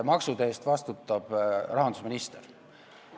Maksude eest vastutab rahandusminister.